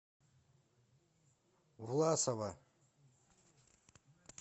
власова